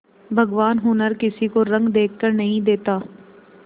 भगवान हुनर किसी को रंग देखकर नहीं देता